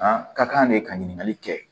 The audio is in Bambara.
A ka kan de ka ɲininkali kɛ